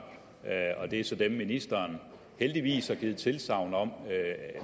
og det er så dem ministeren heldigvis har givet tilsagn om